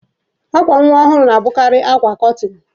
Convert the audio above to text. Akwa nwa ọhụrụ na-abụkarị akwa kọtịn.